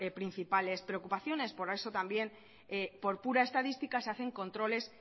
principales preocupaciones por eso también por pura estadística se hacen controles